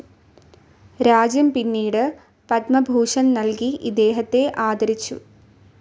രാജ്യം പിന്നീട് പത്മഭൂഷൺ നൽകി ഇദ്ദേഹത്തെ ആദരിച്ചു.